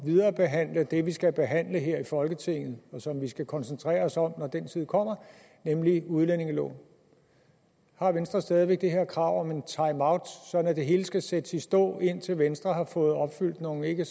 viderebehandle det vi skal behandle her i folketinget og som vi skal koncentrere os om når den tid kommer nemlig udlændingeloven har venstre stadig væk det her krav om en timeout sådan at det hele skal sættes i stå indtil venstre har fået opfyldt nogle ikke